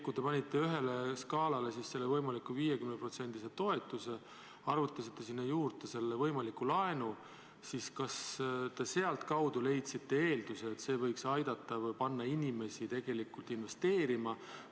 Kui te panite ühele skaalale selle võimaliku 50%-lise toetuse, arvutasite sinna juurde selle võimaliku laenu, siis kas te sealtkaudu leidsite eelduse, et see võiks aidata või panna inimesi tegelikult investeerima?